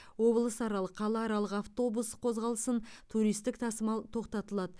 облысаралық қалааралық автобус қозғалысын туристік тасымал тоқтатылады